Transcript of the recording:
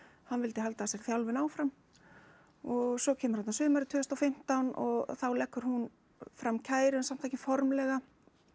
hann vildi halda þessari þjálfun áfram og svo kemur þarna sumarið tvö þúsund og fimmtán og þá leggur hún fram kæru en samt ekki formlega